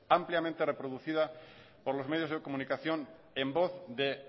ampliamente reproducida por los medios de comunicación en voz de